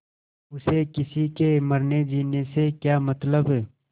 उसे किसी के मरनेजीने से क्या मतलब